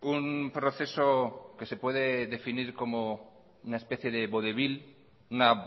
un proceso que se puede definir como una especie de vodevil una